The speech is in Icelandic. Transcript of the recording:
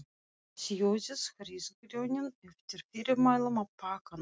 Sjóðið hrísgrjónin eftir fyrirmælum á pakkanum.